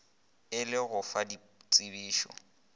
e le go fa ditsebišo